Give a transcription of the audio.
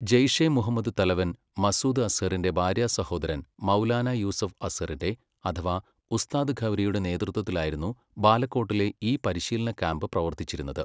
ജെയ്ഷെ മുഹമ്മദ് തലവൻ മസൂദ് അസ്സറിൻ്റെ ഭാര്യാസഹോദരൻ മൗലാനാ യൂസഫ് അസ്സറിൻ്റെ അഥവാ ഉസ്താദ് ഘൗരിയുടെ നേതൃത്വത്തിലായിരുന്നു ബാലക്കോട്ടിലെ ഈ പരിശീലന ക്യാമ്പ് പ്രവർത്തിച്ചിരുന്നത്.